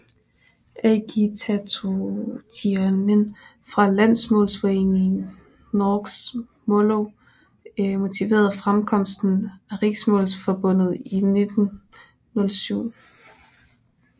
Agitationen fra landsmålsforeningen Noregs Mållag motiverede fremkomsten af Riksmålsforbundet i 1907